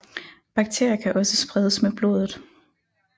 Bakterier kan også spredes med blodet